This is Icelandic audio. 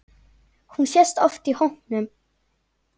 Hún sést oft í hópum.